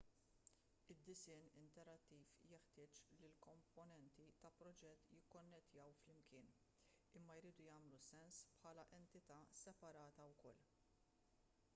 id-disinn interattiv jeħtieġ li l-komponenti ta' proġett jikkonnettjaw flimkien imma jridu jagħmlu sens bħala entità separata wkoll